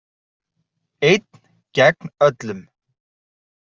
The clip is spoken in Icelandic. Einn gegn öllum.